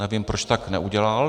Nevím, proč tak neudělal.